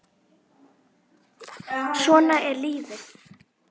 Svona er lífið!